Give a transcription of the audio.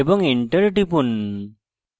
এবং enter টিপুন